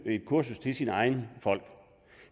et kursus til sine egne folk